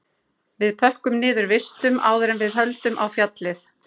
Við pökkum niður vistum áður en við höldum á fjallið